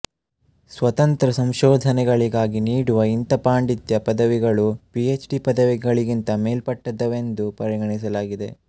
ಸ್ವತಂತ್ರ ಸಂಶೋಧನೆಗಳಿಗಾಗಿ ನೀಡುವ ಇಂಥ ಪಾಂಡಿತ್ಯ ಪದವಿಗಳು ಪಿಎಚ್ ಡಿ ಪದವಿಗಳಿಗಿಂತ ಮೇಲ್ಮಟ್ಟದವೆಂದು ಪರಿಗಣಿಸಲಾಗಿದೆ